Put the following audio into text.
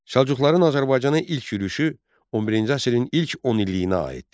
Səlcuqların Azərbaycana ilk yürüşü 11-ci əsrin ilk onilliyinə aiddir.